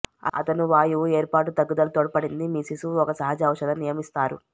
అతను వాయువు ఏర్పాటు తగ్గుదల తోడ్పడింది మీ శిశువు ఒక సహజ ఔషధం నియమిస్తారు